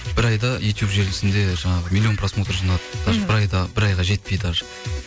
бір айда ютуб желісінде жаңағы миллион просмотр жинады бір айға жетпей даже